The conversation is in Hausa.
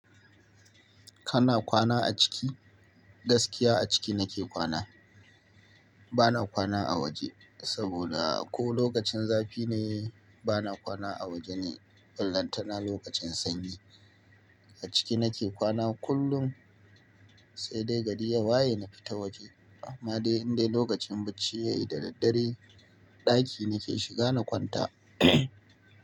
Kana kwana a ciki? Gaskiya a ciki nake kwana. Bana kwana a waje, saboda ko lokacin zafi ne bana kwana a waje ne, ballantana lokacin sanyi. A ciki nake kwana kullum, sai dai gari ya waye na fita waje. Amma dai indai lokacin bacci ya yi, da daddare ɗaki nake shiga na kwanta.